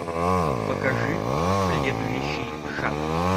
покажи следующий шаг